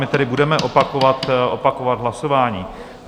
My tedy budeme opakovat hlasování.